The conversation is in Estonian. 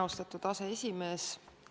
Austatud aseesimees!